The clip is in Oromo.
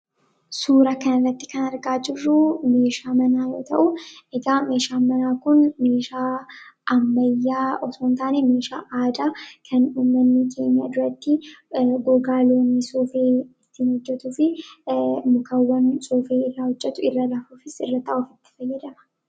Suura kanarratti kan argaa jirru meeshaa manaa yoo ta'u, egaa meeshaan manaa kun meeshaa ammayyaa osoo hin taane, meeshaa aadaa kan uummatni keenya duratti gogaa loonii soofee ittiin hojjetuu fi kan namni soofee irraa hojjetu, irra rafuufis irra taa'uufis itti fayyadama.